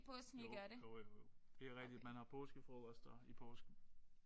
Jo jo jo jo. Det er rigtigt man har påskefrokoster i påsken